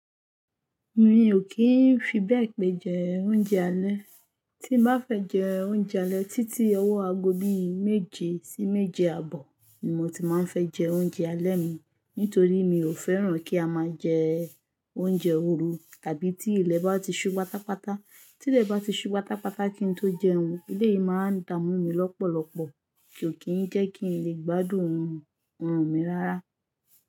Mi ò kí ń fi bẹ́ẹ̀ pé jẹ oúnjẹ alẹ́. Tí n bá fẹ jẹ oúnjẹ alẹ́ títí ọwọ́ ago bí méje sí méje àbọ̀ ni mo ti máa ń fẹ jẹ oúnjẹ alẹ́ mi. Nítorí mi ò fẹ́ràn kí a máa jẹ oúnjẹ òru tàbí tí ilẹ̀ bá ti ṣú pátápátá. Tí ilẹ̀ bá ti ṣú pátápátá kí n tó jẹun ilé yìí máa ń dà mú mi lọ́pọ̀lọpọ̀ ko kí ń jẹ́ kí n lè gbádùn oorun mi rárá.